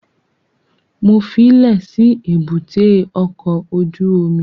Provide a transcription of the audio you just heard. Mo fílẹ̀ sí èbúté ọkọ̀ ojú omi